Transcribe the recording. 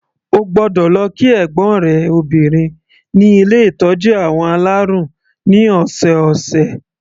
O gbọ́dọ̀ lọ kí ẹ̀gbọ́n rẹ obìnrin ní ilé ìtọ́jú àwọn alárùn ní ọ̀sọ̀ọ̀sẹ̀.